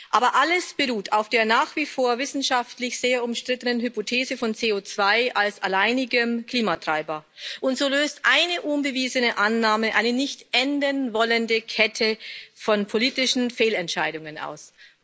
Aber alles beruht auf der nach wie vor wissenschaftlich sehr umstrittenen Hypothese von CO2 als alleinigem Klimatreiber, und so löst eine unbewiesene Annahme eine nicht enden wollende Kette von politischen Fehlentscheidungen aus.